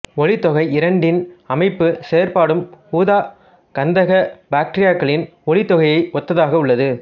ஒளித்தொகுதி இரண்டின் அமைப்பும் செயற்பாடும் ஊதாக் கந்தக பக்டீரியாக்களின் ஒளித்தொகுதியை ஒத்ததாக உள்ளது